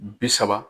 Bi saba